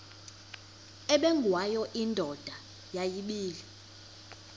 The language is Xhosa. ubengwayo indoda yayibile